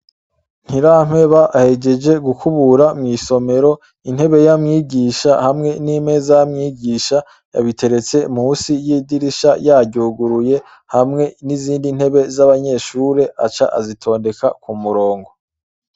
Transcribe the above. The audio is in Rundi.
Ntirampeba hejeje gukubura mw'isomero intebe yamwigisha hamwe n'imeza yamwigisha yabiteretse musi y'idirisha yaryuguruye hamwe n'izindi ntebe z'abanyeshure aca azitondeka ku murongo.